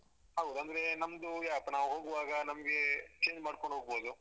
ಹೌದು ಅಂದ್ರೆ ನಮ್ದು ಯಾವತ್ತ್ ನಾವು ಹೋಗುವಾಗ ನಮ್ಗೆ change ಮಾಡ್ಕೊಂಡ್ ಹೋಗ್ಬೋದು.